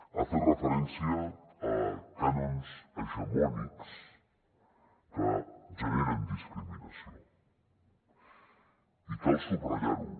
ha fet referència a cànons hegemònics que generen discriminació i cal subratllar ho